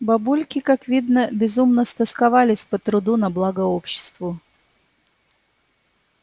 бабульки как видно безумно стосковались по труду на благо обществу